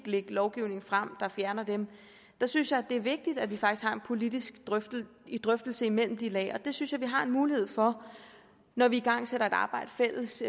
lægge lovgivning frem der fjerner dem synes jeg det er vigtigt at vi faktisk har en politisk drøftelse imellem de lag og det synes jeg vi har mulighed for når vi igangsætter et arbejde fælles